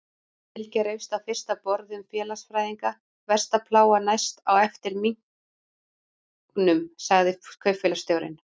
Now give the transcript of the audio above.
Bylgja reifst á fyrsta borði um félagsfræðinga, versta plága næst á eftir minknum, sagði kaupfélagsstjórinn.